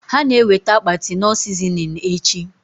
Ha na eweta akpati knorr sizinin echi